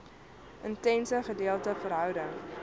intense gedeelde verhouding